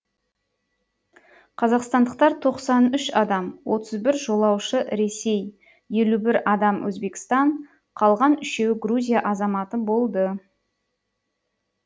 қазақстандықтар тоқсан үш адам отыз бір жолаушы ресей елу бір адам өзбекстан қалған үшеуі грузия азаматы болды